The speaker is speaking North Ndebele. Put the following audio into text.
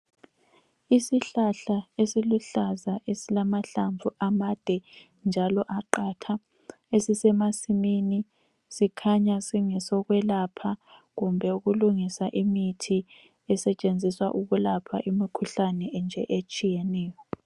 Isihlahla esiluhlaza esilamahlamvu amade njalo aqatha esisemasimini .Sikhanya singesokwelapha kumbe ukulungisa imithi esetshenziswa ukulapha imikhuhlane nje etshiyeneyo.